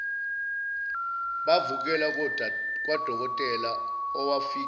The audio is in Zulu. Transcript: bavukela kwadokotela owafike